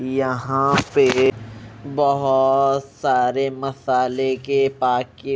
यहां पे बहोत सारे मसाले के पाकि--